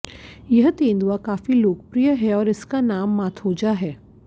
यह तेंदुआ काफ़ी लोकप्रिय है और इसका नाम माथोजा है